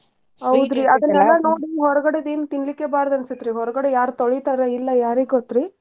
ನೋಡಿ ಹೊರಗಡೆದ್ ಏನ್ ತಿನ್ಲಿಕ್ಕೆ ಬಾರ್ದ್ ಅನಿಸ್ತ್ರಿ. ಹೊರಗಡೆ ಯಾರ್ ತೊಳೀತಾರೋ ಇಲ್ಲೋ ಯಾರಿಗೋತ್ರಿ.